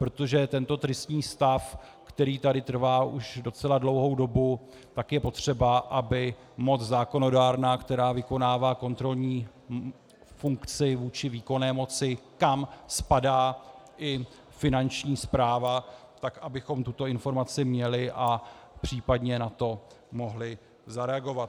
Protože tento tristní stav, který tady trvá už docela dlouhou dobu, tak je potřeba, aby moc zákonodárná, která vykonává kontrolní funkci vůči výkonné moci, kam spadá i Finanční správa, tak abychom tuto informaci měli a případně na to mohli zareagovat.